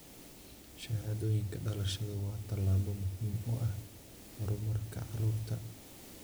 Shahaadooyinka dhalashadu waa tallaabo muhiim u ah horumarka carruurta.